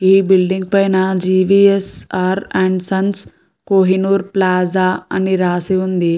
ఈ బిల్డింగ్ పైన G V S R and sons Kohinoor plaza అని రాసి ఉంది.